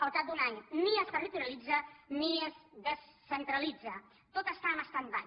al cap d’un any ni es territorialitza ni es descentralitza tot està en standby